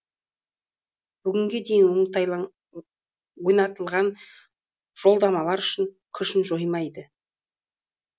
бүгінге дейін ойнатылған жолдамалар күшін жоймайды